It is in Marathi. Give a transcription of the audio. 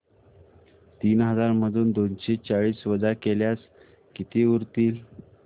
तीन हजार मधून दोनशे चाळीस वजा केल्यास किती उरतील